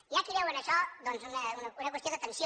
hi ha qui veu en això doncs una qüestió de tensió